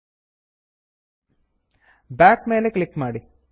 back back ಮೇಲೆ click ಮಾಡಿ